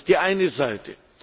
Das ist die eine Seite.